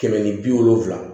Kɛmɛ ni bi wolonfila